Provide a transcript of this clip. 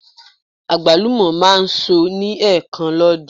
Àgbálùmọ̀ máa ń so ní ẹ̀ẹ̀kan lọ́dún.